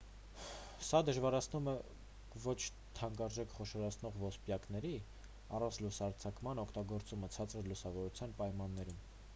սա դժվարացնում է ոչ թանկարժեք խոշորացնող ոսպնյակների առանց լուսարձակման օգտագործումը ցածր լուսավորության պայմաններում